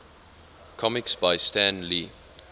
comics by stan lee